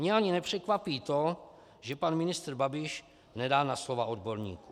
Mě ani nepřekvapí to, že pan ministr Babiš nedá na slova odborníků.